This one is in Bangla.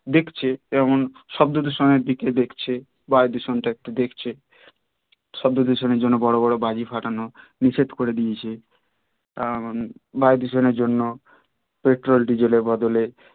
দেখছে তেমন শব্দ দূষণের দিকে দেখছে বায়ু দূষণ টা একটু দেখছে শব্দ দূষণের জন্যে বড় বড় বাজি ফাটানো নিষেধ করে দিয়েছে বায়ু দূষণের জন্যে পেট্রল ডিজেল এর বদলে